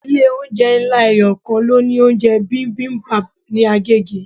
Ilé oúnjẹ ńlá eyokan ló ní oúnjẹ bibimbap ní Agege.